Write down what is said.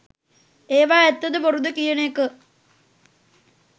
ඒවා ඇත්තද බොරුද කියන එක